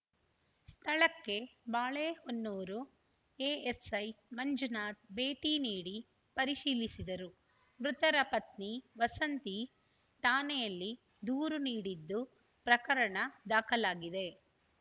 ಸ್ಥಳಕ್ಕೆ ಬಾಳೆಹೊನ್ನೂರು ಎಎಸ್‌ಐ ಮಂಜುನಾಥ್‌ ಭೇಟಿ ನೀಡಿ ಪರಿಶೀಲಿಸಿದರು ಮೃತರ ಪತ್ನಿ ವಸಂತಿ ಠಾಣೆಯಲ್ಲಿ ದೂರು ನೀಡಿದ್ದು ಪ್ರಕರಣ ದಾಖಲಾಗಿದೆ